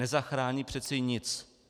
Nezachrání přece nic.